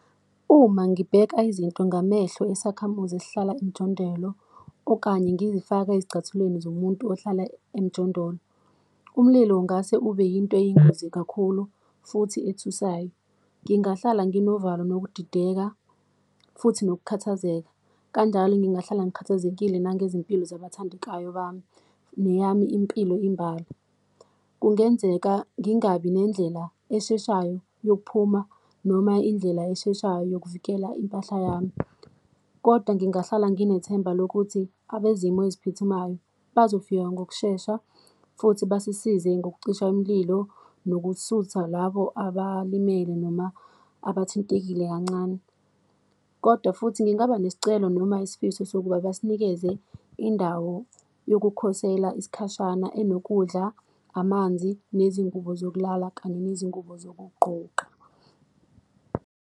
Uma ngibheka izinto ngamehlo esakhamuzi esihlala emjondolo, okanye ngizifaka ezicathulweni zomuntu ohlala emjondolo, umlilo ungase ube yinto yingozi kakhulu futhi athusayo. Ngingahlala nginovalo nokudideka, futhi nokukhathazeka, kanjalo ngingahlala ngikhathazekile nangezimpilo zabathandekayo bami neyami impilo imbala. Kungenzeka ngingabi nendlela esheshayo yokuphuma, noma indlela esheshayo yokuvikela impahla yami. Kodwa ngingahlala nginethemba lokuthi abezimo eziphuthumayo bazofika ngokushesha, futhi basisize ngokucisha imililo, nokuthutha labo abalimele noma abathintekile kancane. Kodwa futhi ngingaba nesicelo, noma isifiso sokuba basinikeze indawo yokukhosela isikhashana, enokudla, amanzi, nezingubo zokulala kanye nezingubo zokuqgoqa.